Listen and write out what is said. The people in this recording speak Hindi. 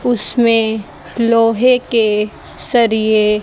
उसमें लोहे के सरिए --